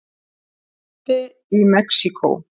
Jarðskjálfti í Mexíkó